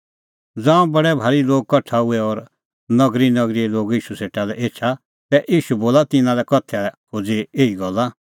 ज़ांऊं बडै भारी लोग कठा हुऐ और नगरीनगरीए लोग ईशू सेटा लै एछा तै ईशू खोज़अ तिन्नां का उदाहरणा दी